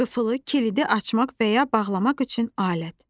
Qıfılı, kilidi açmaq və ya bağlamaq üçün alət.